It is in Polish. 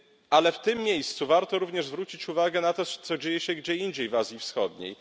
Ale w tym miejscu warto również zwrócić uwagę na to, co dzieje się gdzie indziej w Azji Wschodniej.